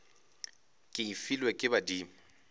ke e filwe ke badimo